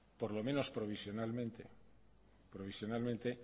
por lo menos provisionalmente